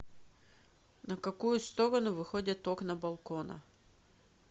на какую сторону выходят окна балкона